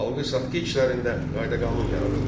Alqı-satqı işlərində qayda-qanun yaradıldı.